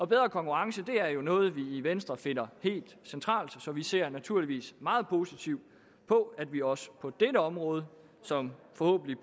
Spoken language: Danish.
bedre konkurrence er jo noget vi i venstre finder helt centralt så vi ser naturligvis meget positivt på at vi også på dette område som